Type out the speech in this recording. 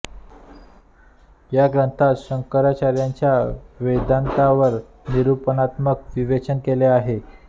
या ग्रंथात शंकराचार्यांच्या वेदान्तावर निरूपणात्मक विवेचन केले आहे